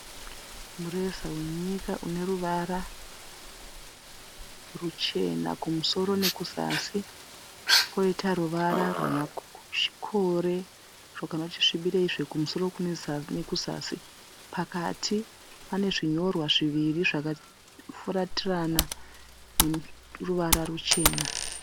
Mureza wenyika une ruvara ruchena kumusoro nekuzasi. Kwoita ruvara rwemakore rwakanoti svibireizve kumusoro nekuzasi. Pakati pane zvinonyorwa zviviri zvakafuratirana zvine ruvara ruchena.